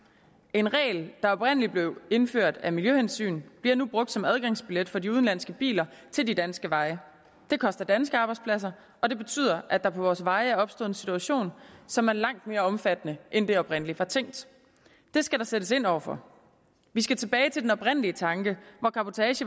en regel der oprindelig blev indført af miljøhensyn bliver nu brugt som adgangsbillet for de udenlandske biler til de danske veje det koster danske arbejdspladser og det betyder at der på vores veje er opstået en situation som er langt mere omfattende end det oprindelig var tænkt det skal der sættes ind over for vi skal tilbage til den oprindelige tanke